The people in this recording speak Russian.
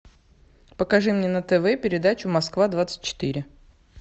покажи мне на тв передачу москва двадцать четыре